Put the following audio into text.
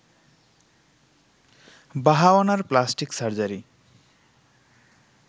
বাহাওয়ানার plastic surgery